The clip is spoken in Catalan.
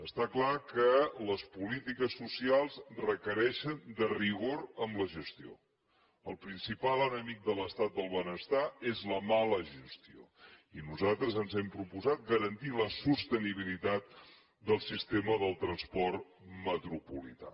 està clar que les polítiques socials requereixen rigor en la gestió el principal enemic de l’estat del benestar és la mala gestió i nosaltres ens hem proposat garantir la sostenibilitat del sistema del transport metropolità